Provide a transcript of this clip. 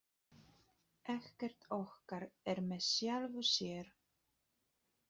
Ekkert okkar er með sjálfu sér.